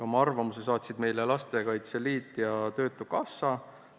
Oma arvamuse saatsid meile Lastekaitse Liit ja töötukassa.